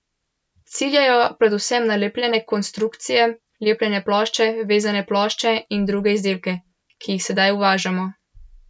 Ciljajo predvsem na lepljene konstrukcije, lepljene plošče, vezane plošče in druge izdelke, ki jih sedaj uvažamo.